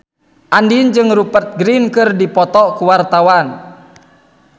Andien jeung Rupert Grin keur dipoto ku wartawan